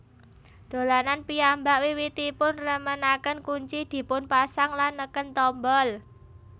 Dolanan piyambak wiwitipun remenaken kunci dipunpasang lan neken tombol